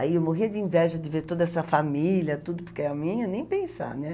Aí eu morria de inveja de ver toda essa família, tudo, porque a minha, nem pensar, né?